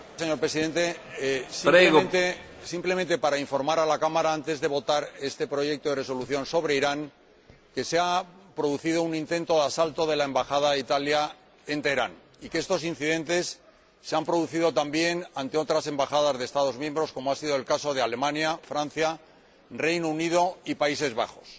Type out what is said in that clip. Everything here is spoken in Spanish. Señor Presidente, simplemente quería informar a la Cámara, antes de votar este proyecto de Resolución sobre Irán, de que se ha producido un intento de asalto a la Embajada de Italia en Teherán y que estos incidentes se han producido también en otras embajadas de Estados miembros, como ha sido el caso de Alemania, Francia, el Reino Unido y los Países Bajos.